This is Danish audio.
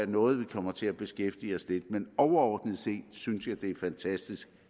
noget vi kommer til at beskæftige os lidt med men overordnet set synes jeg det er fantastisk